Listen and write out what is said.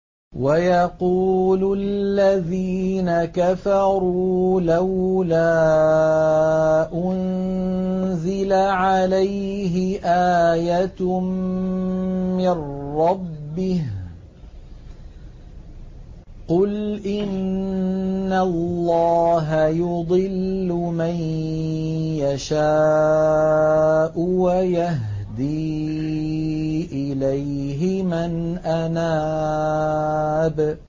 وَيَقُولُ الَّذِينَ كَفَرُوا لَوْلَا أُنزِلَ عَلَيْهِ آيَةٌ مِّن رَّبِّهِ ۗ قُلْ إِنَّ اللَّهَ يُضِلُّ مَن يَشَاءُ وَيَهْدِي إِلَيْهِ مَنْ أَنَابَ